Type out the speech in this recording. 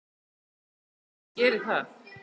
Já, ég geri það